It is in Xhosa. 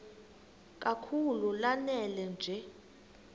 kakhulu lanela nje